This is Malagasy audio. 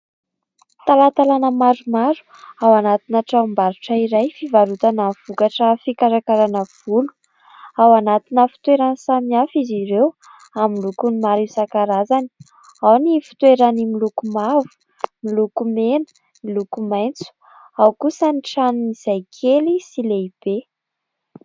Talantalana maromaro ao anatina tranombarotra iray fivarotana vokatra fikarakarana volo ; ao anatina fitoerany samy hafa izy ireo amin'ny lokony maro isan-karazany ; ao ny fitoerany miloko mavo, miloko mena, ny loko maitso ao kosa ny tranony izay kely sy lehibe.